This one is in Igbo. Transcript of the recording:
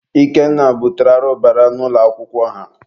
Ikenna butere arụbara n'ụlọ akwụkwọ ha.